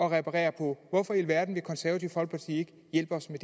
at reparere på hvorfor i alverden vil det konservative folkeparti ikke hjælpe os med